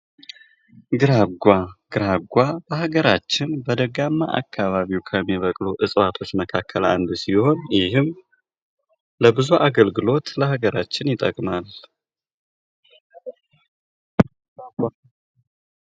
ግራጓ ግራጓ በሀገራችን በደጋማ አካባቢ ከሚበቅሉ እጽዋቶች መካከል አንዱ ሲሆን ይህም ለብዙ አገልግሎት ለአገራችን ይጠቅማል።